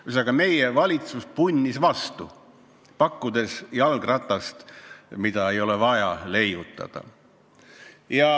Ühesõnaga, meie valitsus punnis vastu, pakkudes jalgratast, mida ei ole vaja leiutada.